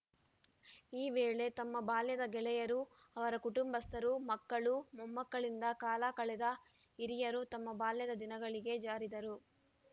ಈ ವೇಳೆ ತಮ್ಮ ಬಾಲ್ಯದ ಗೆಳೆಯರು ಅವರ ಕುಟುಂಬಸ್ಥರು ಮಕ್ಕಳು ಮೊಮ್ಮಕ್ಕಳಿಂದ ಕಾಲ ಕಳೆದ ಹಿರಿಯರು ತಮ್ಮ ಬಾಲ್ಯದ ದಿನಗಳಿಗೆ ಜಾರಿದರು